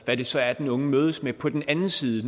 hvad det så er den unge mødes med på den anden side